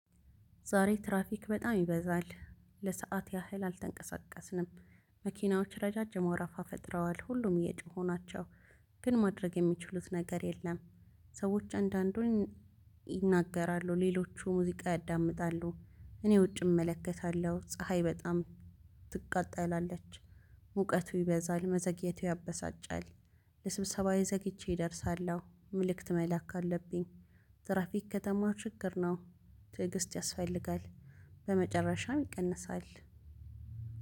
ዛሬ ትራፊክ በጣም ይበዛል ለሰአት ያህል አልተንቀሳቀስንም። መኪናዎች ረጃጅም መረፋ ፈጥረዋል ሁሉም እየጮሁ ናቸው ግን ማድረግ የሚችሉት ነገር የለም። ሰዎች አንዳንዶን ይናገራሉ ሌሎቹ ሙዚቃ ያዳምጣሉ። እኔ ውጭ እመለከታለሁ ፀሀይ በጣም ትቃጠላለች። ሙቀቱ ይበዛል መዘግየቱ ያበሳጫል። ለስብሰባዬ ዘግይቼ እደርሳለሁ መልእክት መላክ አለብኝ። ትራፊክ ከተማ ችግር ነው። ትዕግስት ያስፈልጋል። በመጨረሻም ይቀንሳል።